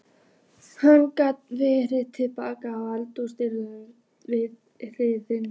Hann gekk varlega til baka að eldhúsdyrunum við hlið